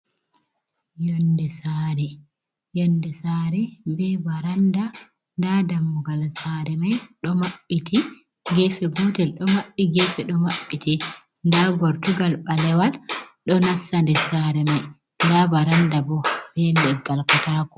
yonde sare, be baranda da dammugal sare mai do maɓbiti. gefe gotel do mabbi, gefe do mabbiti, da gortugal balewal do nasta nde sare mai da baranda bo be ndel galkatako